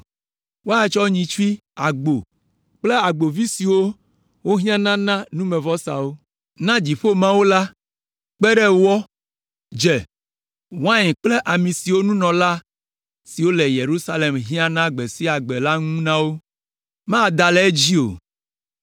Woatsɔ nyitsui, agbo kple agbovi siwo wohiãna na numevɔsawo na dziƒo Mawu la kpe ɖe wɔ, dze, wain kple ami siwo nunɔla siwo le Yerusalem hiãna gbe sia gbe la ŋu na wo, mada le edzi o.